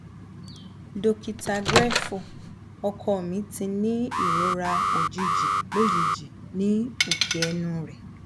dokita griefu ọkọ mi ti ni irora ojiji lojiji ni oke ẹnu rẹ